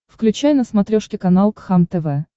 включай на смотрешке канал кхлм тв